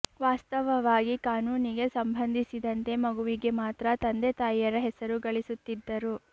ವಾಸ್ತವವಾಗಿ ಕಾನೂನಿಗೆ ಸಂಬಂಧಿಸಿದಂತೆ ಮಗುವಿಗೆ ಮಾತ್ರ ತಂದೆ ತಾಯಿಯರು ಹೆಸರು ಗಳಿಸುತ್ತಿದ್ದರು